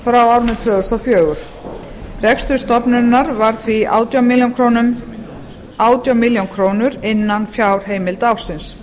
frá árinu tvö þúsund og fjögur rekstur stofnunarinnar var því átján milljónir króna innan fjárheimilda ársins